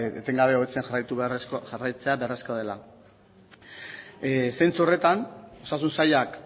etengabe hobetzen jarraitu beharrezkoa jarraitzea beharrezkoa dela zentzu horretan osasun sailak